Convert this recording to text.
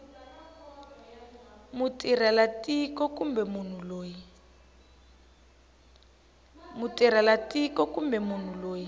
mutirhela tiko kumbe munhu loyi